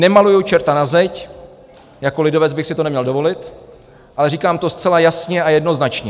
Nemaluji čerta na zeď, jako lidovec bych si to neměl dovolit, ale říkám to zcela jasně a jednoznačně.